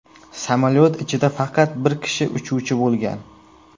Samolyot ichida faqat bir kishi uchuvchi bo‘lgan.